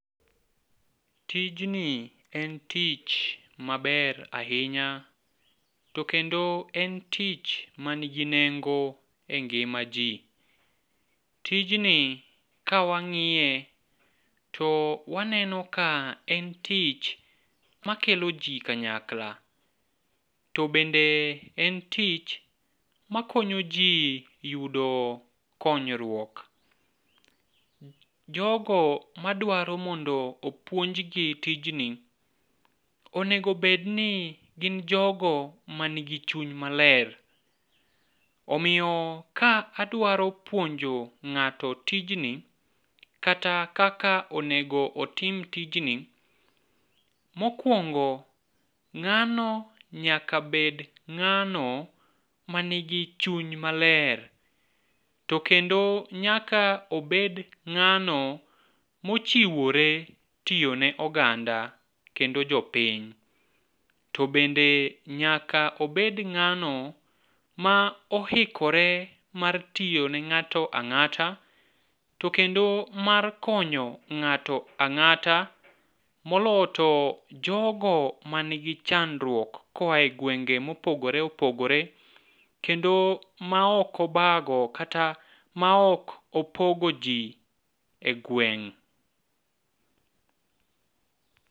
Tijni en tich maber ahinya to kendo en tich manigi nengo e ngima ji. Tijni kawang'iye to waneno ka en tich makelo ji kanyakla, to bende en tich makonyo ji yudo konyruok. jogo madwaro mondo puonjgi tijni onego obedni gin jogo manigi chuny maler . Omiyo ka adwaro puonjo ng'ato tijni, kata kaka onego otim tijni, mokwongo ng'ano nyaka bed ng'ano manigi chuny maler to kendo nyaka obed ng'ano mochiwore tiyo ne oganda kendo jopiny, to bende nyaka obed ng'ano ma oikore mar tiyo ne ng'ato ang'ata , to kendo mar konyo ng'ato ang'ata moloyo to jogo manigi chandruok koa e gwenge mopogore opogore kendo ma ok obago kata ma ok opogo ji e gweng'.